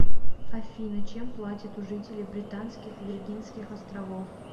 афина чем платят у жителей британских виргинских островов